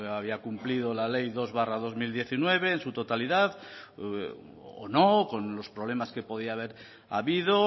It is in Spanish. había cumplido la ley dos barra dos mil diecinueve en su totalidad o no con los problemas que podía haber habido